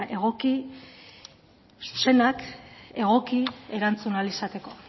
zuzenak egoki erantzun ahal izateko